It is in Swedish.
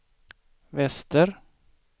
väster